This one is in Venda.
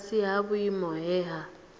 fhasi ha vhuimo he ha